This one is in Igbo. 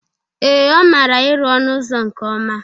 Ee, ọ mara ịrụ ọnụ ụzọ nke ọma.